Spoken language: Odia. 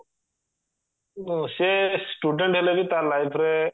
ସେ student ହେଲେ ବି ତା life ରେ